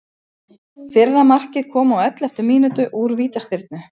Fyrra markið kom á elleftu mínútu úr vítaspyrnu.